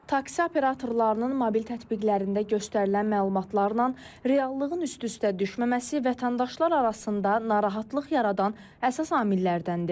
Taksi operatorlarının mobil tətbiqlərində göstərilən məlumatlarla reallığın üst-üstə düşməməsi vətəndaşlar arasında narahatlıq yaradan əsas amillərdəndir.